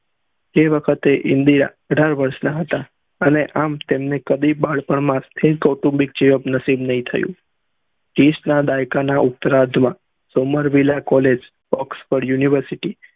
એ વખતે ઇન્દિરા અઠાર વર્ષ ના હતા અને આમ કદી તેમને બાળપણ માં જીવન નસીબ નહી થયું દાયકા ના ઉત્ત્રધ્વા સોમાંર્વીલા કોલેજ ઓક્ષ્ફોડ university